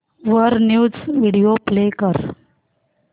वर news video play कर